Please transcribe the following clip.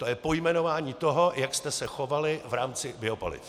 To je pojmenování toho, jak jste se chovali v rámci biopaliv.